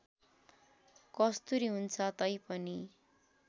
कस्तुरी हुन्छ तैपनि